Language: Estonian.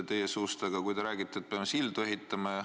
Te räägite, et me peame sildu ehitama.